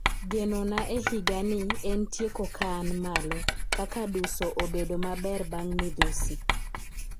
geno na e higa ni en tieko ka an malo ,kaka duso obedo maber bang midhusi